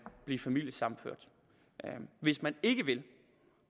blive familiesammenført hvis man ikke vil